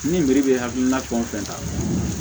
Ni biriki bɛ hakilina fɛn o fɛn ta